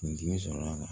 Kun dimi sɔrɔ la